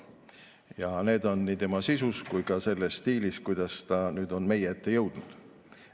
Ja need on nii tema sisus kui ka selles stiilis, kuidas ta on meie ette jõudnud.